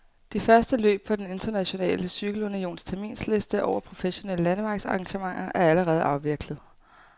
De første løb på den internationale cykelunions terminsliste over professionelle landevejsarrangementer er allerede afviklet.